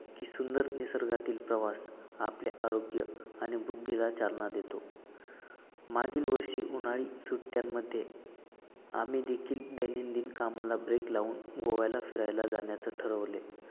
की सुंदर निसर्गातील प्रवास आपले आरोग्य आणि बुद्धीला चालना देतो. मागील वर्षी उन्हाळी सुट्ट्यांमध्ये आम्ही देखील दैनंदिन कामाला break लाऊन गोव्याला फिरायला जाण्याचे ठरवले.